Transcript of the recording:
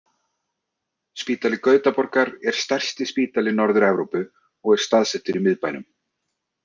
Spítali Gautaborgar er stærsti spítali Norður-Evrópu og er staðsettur í miðbænum.